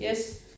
Yes